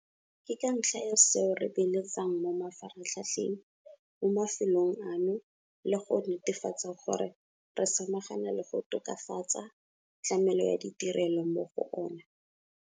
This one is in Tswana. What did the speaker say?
Ke ka ntlha ya seo re beeletsang mo mafaratlhatlheng mo mafelong ano le go netefatsa gore re samagana le go tokafatsa tlamelo ya ditirelo mo go ona.